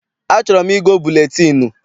Achọrọ m igo buletịịnụ